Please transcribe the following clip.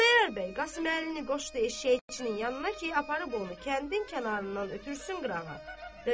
Xudayar bəy Qasım Əlini qoşdu eşşəkçinin yanına ki, aparıb onu kəndin kənarından ötürsün qırağa.